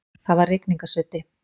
Það var rigningarsuddi.